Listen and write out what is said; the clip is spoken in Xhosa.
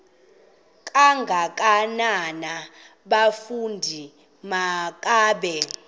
kangakanana bafondini makabe